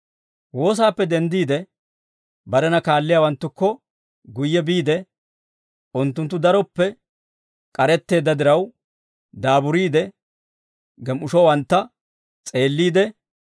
Woosaappe denddiide, barena kaalliyaawanttukko guyye biide, unttunttu daroppe k'aretteedda diraw, daaburiide gem"ishowantta s'eelliide,